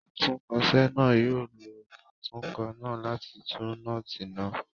Atúnkọ̀se náà yóò lo atúkọ̀ náà láti tú nọ́ọ́tì náà.